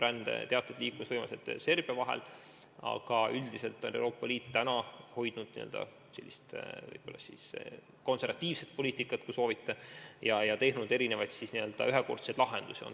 On teatud võimalused Serbia puhul, aga üldiselt on Euroopa Liit hoidnud konservatiivset joont ja teinud erinevaid n-ö ühekordseid lahendusi.